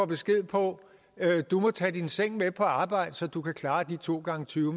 besked på at du må tage din seng med på arbejde så du kan klare de to gange tyve